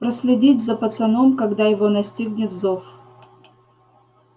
проследить за пацаном когда его настигнет зов